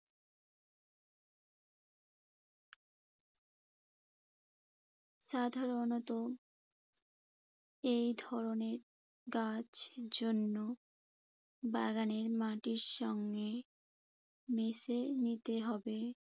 সাধারণত এই ধরনের গাছ জন্য বাগানের মাটির সঙ্গে মিশে নিতে হবে।